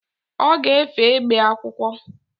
Ọ ga-efe egbe akwụkwọ.